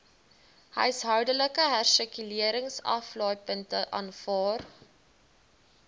huishoudelike hersirkuleringsaflaaipunte aanvaar